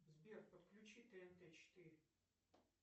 сбер подключи тнт четыре